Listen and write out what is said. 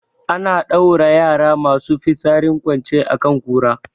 Ana ɗaura yara masu fitsarin kwance a kan kura